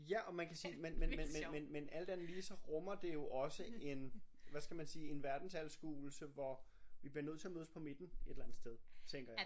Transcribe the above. Ja og man kan sige men men men men men men alt andet lige så rummer det jo også en hvad skal man sige en verdensanskuelse hvor vi bliver nødt til at mødes på midten et eller andet sted tænker jeg